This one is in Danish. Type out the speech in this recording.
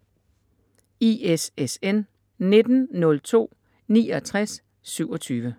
ISSN 1902-6927